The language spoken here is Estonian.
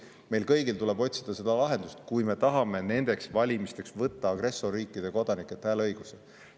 Meil kõigil tuleb otsida lahendust, kui me tahame nendeks valimisteks võtta agressorriikide kodanikelt hääleõiguse.